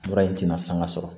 Mura in tɛna sanga sɔrɔ